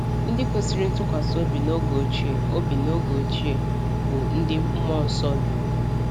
Ndị kwesịrị ntụkwasị obi n’oge ochie obi n’oge ochie, bụ́ ndị mmụọ nsọ duru